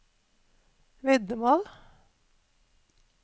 veddemål